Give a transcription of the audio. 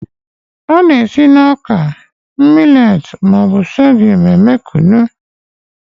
A na-esi na ọka, millei, ma ọ bụ sorghum eme Kunu.